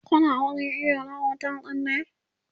Kuna wurin iyo na otel ɗin ne?